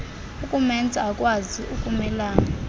ukumenza akwazi ukumelana